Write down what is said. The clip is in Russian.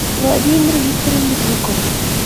владимир викторович жуков